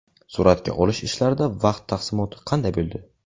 Suratga olish ishlarida vaqt taqsimoti qanday bo‘ldi?